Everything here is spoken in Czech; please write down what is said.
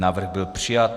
Návrh byl přijat.